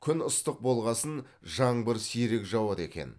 күн ыстық болғасын жаңбыр сирек жауады екен